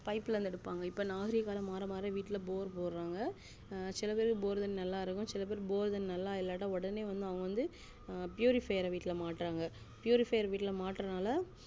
pipe ல இருந்து எடுப்பாங்க இப்போ நாகரிகம் மாற மாற வீட்டுல bore போடுறாங்க சில பேர் bore தண்ணி நல்லாஇருக்கும் சில பேர் bore தண்ணி நல்லா இல்லட்ட ஒடனே வந்து ஆஹ் purify வீட்டுல மாட்டுறாங்க purify மாட்டுரதனால